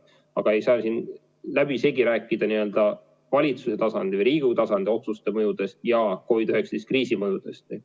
Aga siin ei saa läbisegi rääkida valitsuse tasandil ja Riigikogu tasandil tehtud otsuste mõjudest ja COVID-i kriisi mõjudest.